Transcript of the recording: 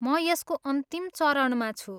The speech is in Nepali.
म यसको अन्तिम चरणमा छु।